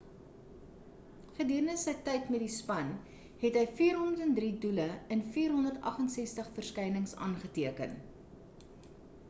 gedurende sy tyd met die span het hy 403 doele in 468 verskynings aangeteken